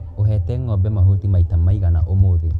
ũhete ngombe mahuti maita maigana ũmũthĩ.